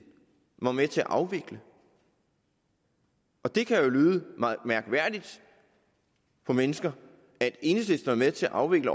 var med til at afvikle det kan jo lyde mærkværdigt for mennesker at enhedslisten var med til at afvikle